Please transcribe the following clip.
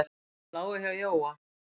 Þeir lágu hjá Jóa.